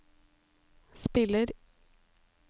spiller